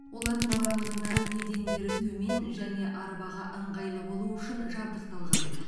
олардың барлығында едендері төмен және арбаға ыңғайлы болу үшін жабдықталған